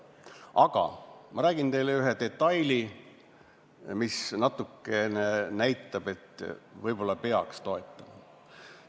Aga ma räägin teile ühe detaili, mis natukene näitab, et võib-olla peaks toetama.